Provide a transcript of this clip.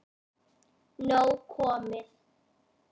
Nóg komið